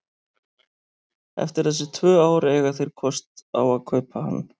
Eftir þessi tvö ár eiga þeir kost á að kaupa hann.